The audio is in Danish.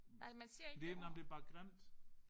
Nej man siger ikke det ord